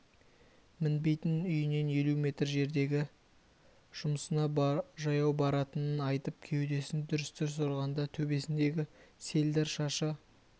мінбейтінін үйінен елу метр жердегі жұмысына жаяу баратынын айтып кеудесін дүрс-дүрс ұрғанда төбесіндегі селдір шашы